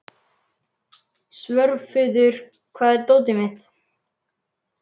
Svörfuður, hvar er dótið mitt?